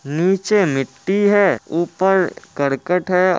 नीचे मिट्टी है ऊपर कर्कट है।